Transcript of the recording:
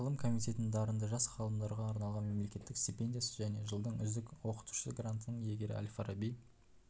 ғылым комитетінің дарынды жас ғалымдарға арналған мемлекеттік стипендиясы және жылдың үздік оқытушысы грантының иегері әл-фараби